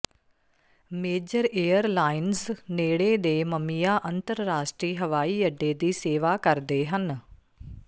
major airlines ਨੇੜੇ ਦੇ Miami ਅੰਤਰਰਾਸ਼ਟਰੀ ਹਵਾਈ ਅੱਡੇ ਦੀ ਸੇਵਾ ਕਰਦੇ ਹਨ